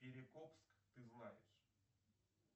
перекопск ты знаешь